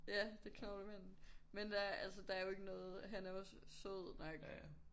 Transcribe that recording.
Ja det knoglemanden. Men der altså der er jo ikke noget han er jo også sød nok